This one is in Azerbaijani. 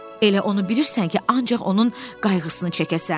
Elə onu bilirsən ki, ancaq onun qayğısını çəkəsən.